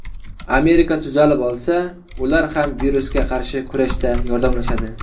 Amerika tuzalib olsa, ular ham virusga qarshi kurashda yordamlashadi.